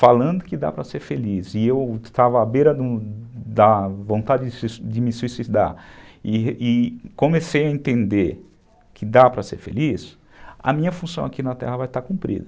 falando que dá para ser feliz e eu estava à beira da vontade de me suicidar e e comecei a entender que dá para ser feliz, a minha função aqui na terra vai estar cumprida.